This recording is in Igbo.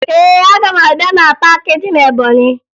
Ee, aga m abịa na paakị dị na Ebọnyị